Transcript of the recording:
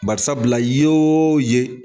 Bari sabula ye o ye